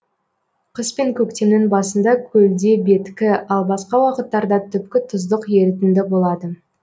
қыс пен көктемнің басында көлде беткі ал басқа уақыттарда түпкі тұздық ерітінді болады